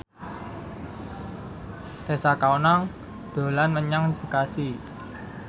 Tessa Kaunang dolan menyang Bekasi